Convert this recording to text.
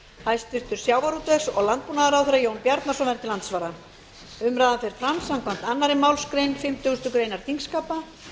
hæstvirtum sjávarútvegs og landbúnaðarráðherra jón bjarnason verður til andsvara umræðan fer fram samkvæmt annarri málsgrein fimmtugustu grein þingskapa